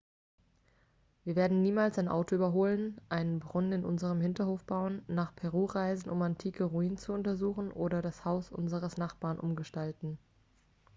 wir werden niemals ein auto überholen einen brunnen in unserem hinterhof bauen nach peru reisen um antike ruinen zu untersuchen oder das haus unseres nachbarn umgestalten